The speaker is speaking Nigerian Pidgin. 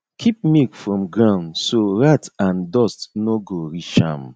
keep milk from ground so rat and dust no go reach am